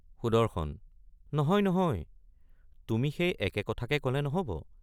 সুদৰ্শন—নহয় নহয় তুমি সেই একে কথাকে কলে নহব।